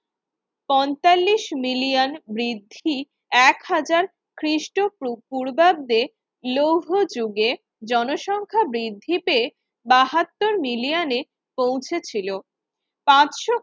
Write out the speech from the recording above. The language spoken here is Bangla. পঁয়তাল্লিশ মিলিয়ন বৃদ্ধি এক হাজার খ্রিস্টপূ পূর্বাব্দে লৌহ যুগের জনসংখ্যা বৃদ্ধিতে বাহাত্তর মিলিয়ানে পৌঁছেছিল